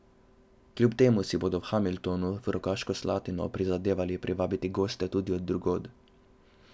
Kljub temu si bodo v Hamiltonu v Rogaško Slatino prizadevali privabiti goste tudi od drugod.